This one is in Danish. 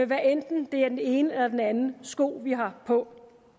hvad enten det er den ene eller anden sko vi har på